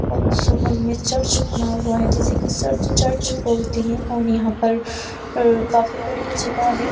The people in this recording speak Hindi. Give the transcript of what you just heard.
और उस हॉल में चर्च बना हुआ है जिसे कि सर्च चर्च बोलते हैं और यहाँ पर काफी बड़ी जगह है।